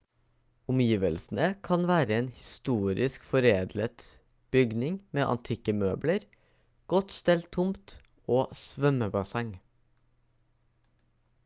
omgivelsene kan være en historisk foreldet bygning med antikke møbler godt stelt tomt og svømmebasseng